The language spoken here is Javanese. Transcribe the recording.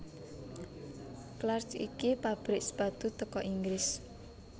Clarks iki pabrik sepatu teko Inggris